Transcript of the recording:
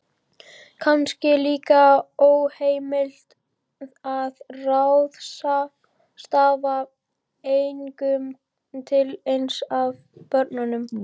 Kannski líka óheimilt að ráðstafa eignum til eins af börnunum